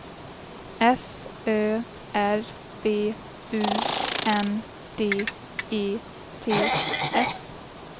F Ö R B U N D E T S